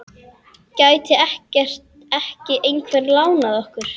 Gæti ekki einhver lánað okkur?